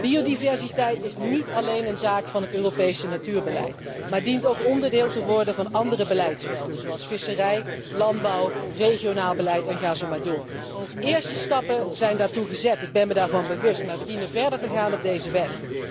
Biodiversiteit is niet alleen een zaak van het Europese natuurbeleid, maar dient ook onderdeel te worden van andere beleidsvelden, zoals visserij, landbouw, regionaal beleid en ga zo maar door. De eerste stappen daartoe zijn gezet, ik ben mij daarvan bewust, maar wij dienen verder te gaan op deze weg.